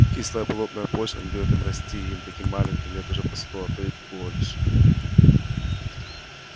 кислая болотная почва не даёт им расти и им таким маленьким лет уже по сто а то и больше